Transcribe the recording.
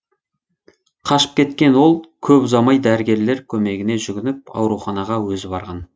қашып кеткен ол көп ұзамай дәрігерлер көмегіне жүгініп ауруханаға өзі барған